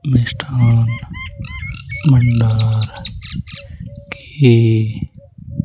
मिष्ठान मंडल की--